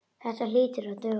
Þetta hlýtur að duga.